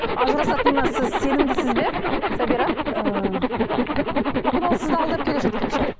ажырасатынына сіз сенімдісіз бе сабира ыыы мүмкін ол сізді алдап келе жатқан шығар